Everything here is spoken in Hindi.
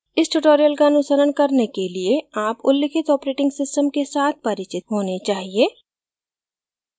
इस tutorial का अनुसरण करने के लिए आप उल्लेखित operating systems के साथ परिचित होने चाहिए